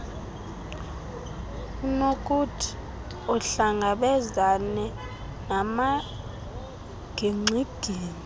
unokuthi uhlangabezane namagingxigingxi